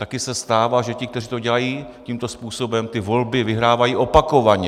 Taky se stává, že ti, kteří to dělají tímto způsobem, ty volby vyhrávají opakovaně.